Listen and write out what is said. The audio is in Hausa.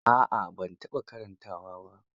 A'a ban taɓa karantawa ba.